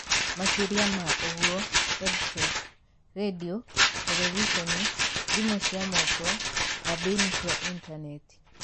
Makĩria ma ũguo, EdTech (radio, terebiceni, thimũ cia moko, kambĩini cia intaneti).